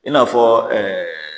I n'afɔ ɛɛ